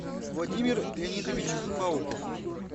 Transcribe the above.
владимир леонидович пауков